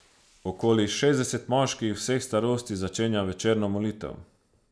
Okoli šestdeset moških vseh starosti začenja večerno molitev.